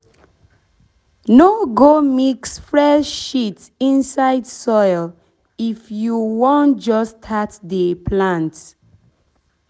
no go mix fresh shit inside soil if you wan just start dey plant.